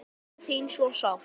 Þau sakna þín svo sárt.